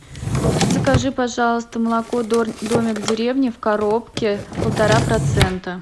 закажи пожалуйста молоко домик в деревне в коробке полтора процента